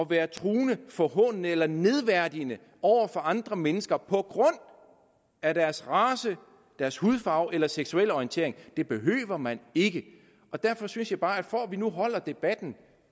være truende forhånende eller nedværdigende over for andre mennesker på grund af deres race deres hudfarve eller deres seksuelle orientering det behøver man ikke derfor synes jeg bare at det for at vi nu holder debatten